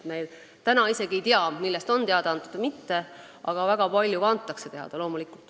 Praegu me isegi ei tea, millest on teada antud või mitte, kuigi loomulikult väga palju antakse teada.